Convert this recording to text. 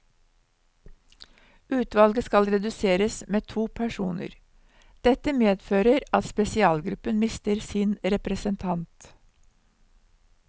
Utvalget skal reduseres med to personer, dette medfører at spesialgruppen mister sin representant.